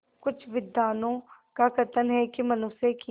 कुछ विद्वानों का कथन है कि मनुष्य की